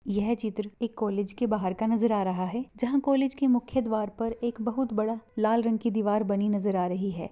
यह चित्र एक कॉलेज के बाहर का नजर आ रहा है जहा कॉलेज की मुख्य द्वार पर एक बहुत बड़ा लाल रंग की दीवर बनी नजर आ रही है।